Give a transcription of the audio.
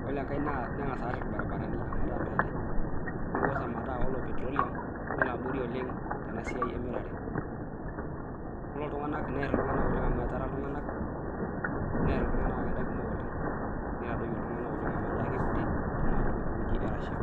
Kore engai nengas aar irbaribarani ometaa meetai. Nikoos ometaa kore petroleum nelo abori oleng' tena siai emirare. Neer iltung'ana kumok oleng',neitadoyio iltung'ana neaku kutik tenaalo ewueji ee Russia